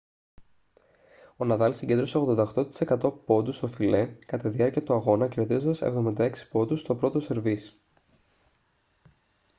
ο ναδάλ συγκέντρωσε 88% πόντους στο φιλέ κατά τη διάρκεια του αγώνα κερδίζοντας 76 πόντους στο πρώτο σερβίς